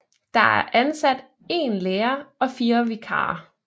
Der er ansat én lærer og fire vikarer